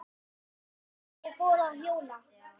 Og ég fór að hjóla.